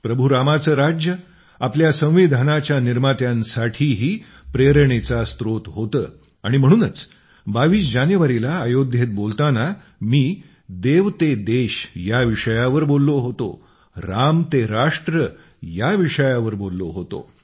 प्रभू रामाचे राज्य आपल्या संविधानाच्या निर्मात्यांसाठीही प्रेरणेचा स्त्रोत होते आणि म्हणूनच 22 जानेवारीला अयोध्येत बोलताना मी देव ते देश राम ते राष्ट्र या विषयावर बोललो होतो